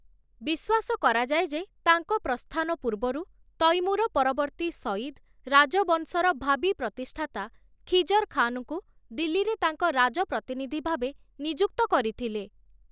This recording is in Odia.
ବିଶ୍ୱାସ କରାଯାଏ ଯେ ତାଙ୍କ ପ୍ରସ୍ଥାନ ପୂର୍ବରୁ, ତୈମୁର ପରବର୍ତ୍ତୀ ସୟିଦ, ରାଜବଂଶର ଭାବୀ ପ୍ରତିଷ୍ଠାତା ଖିଜର ଖାନଙ୍କୁ, ଦିଲ୍ଲୀରେ ତାଙ୍କ ରାଜପ୍ରତିନିଧି ଭାବେ ନିଯୁକ୍ତ କରିଥିଲେ ।